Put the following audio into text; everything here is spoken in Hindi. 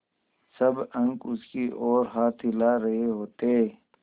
सब अंक उसकी ओर हाथ हिला रहे होते